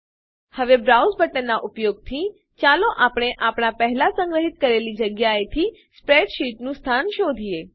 હવે બ્રાઉઝ બટનના ઉપયોગથીચાલો આપણે આપણા પહેલા સંગ્રહિત કરેલી જગ્યાએથી સ્પ્રેડશીટનું સ્થાન શોધીએ